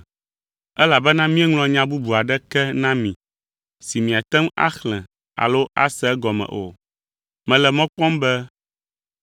Elabena míeŋlɔ nya bubu aɖeke na mi, si miate ŋu axlẽ alo ase egɔme o. Mele mɔ kpɔm be,